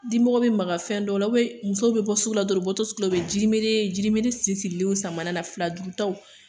Dimɔgɔ be maka fɛn dɔ la musow be bɔ sugu la dɔrɔn, u bɔ tɔ sugu la u be jinibere, jinibere siri sirilenw san sama na fila duurutaw.